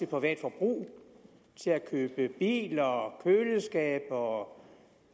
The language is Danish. private forbrug til at købe biler og køleskabe og